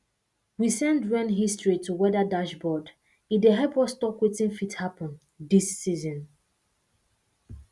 we send rain history to weather dashboard e dey help us talk wetin fit happen these season